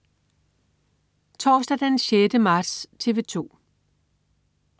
Torsdag den 6. marts - TV 2: